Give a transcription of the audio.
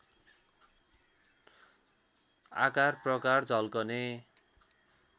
आकार प्रकार झल्कने